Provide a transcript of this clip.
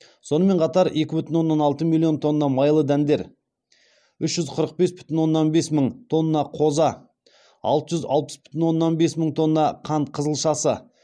сонымен қатар екі бүтін оннан алты миллион тонна майлы дәндер үш жүз қырық бес бүтін оннан бес мың тонна қоза алты жүз алпыс бүтін оннан бес мың тонна қант қызылшасы